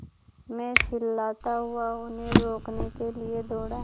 मैं चिल्लाता हुआ उन्हें रोकने के लिए दौड़ा